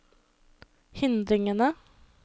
hindringene